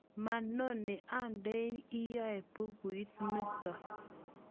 manoni andeni yoe bukuit nito